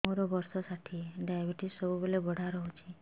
ମୋର ବର୍ଷ ଷାଠିଏ ଡାଏବେଟିସ ସବୁବେଳ ବଢ଼ା ରହୁଛି